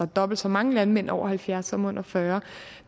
dobbelt så mange landmænd over halvfjerds år som under fyrre